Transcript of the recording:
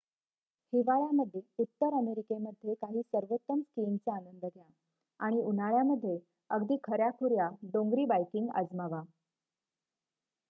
हिवाळया मध्ये उत्तर अमेरिकेमध्ये काही सर्वोत्तम स्कीइंगचा आनंद घ्या आणि उन्हाळ्यामध्ये अगदी खऱ्याखुऱ्या डोंगरी बायकिंग आजमावा